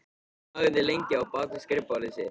Hann þagði lengi á bak við skrifborðið sitt.